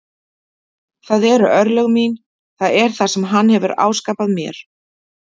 Það eru örlög mín, það er það sem hann hefur áskapað mér.